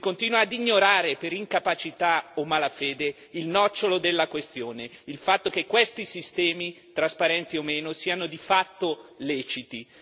Si continua ad ignorare, per incapacità o malafede, il nocciolo della questione il fatto che questi sistemi, trasparenti o meno, sono di fatto leciti.